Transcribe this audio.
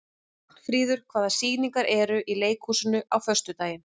Vagnfríður, hvaða sýningar eru í leikhúsinu á föstudaginn?